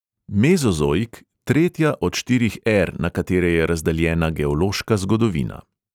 Mezozoik, tretja od štirih er, na katere je razdeljena geološka zgodovina.